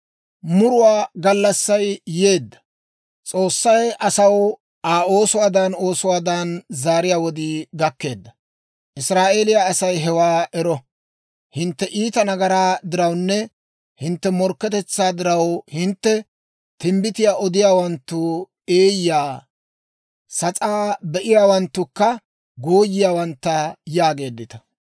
Muruwaa gallassay yeedda; S'oossay asaw Aa oosuwaadan oosuwaadan zaariyaa wodii gakkeedda. Israa'eeliyaa Asay hewaa ero! Hintte iita nagaraa dirawunne hintte morkketetsaa diraw hintte, «Timbbitiyaa odiyaawanttu eeyya; sas'aa be'iyaawanttukka gooyiyaawantta» yaageeddita.